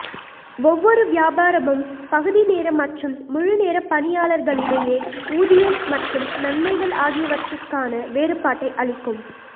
ஒவ்வொரு வியாபாரமும் பகுதி நேர மற்றும் முழுநேர பணியாளர்களிடையே ஊதியம் மற்றும் நன்மைகள் ஆகியவற்றிற்கான வேறுபாட்டை அளிக்கும்